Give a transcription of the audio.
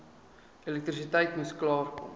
elektrisiteit moes klaarkom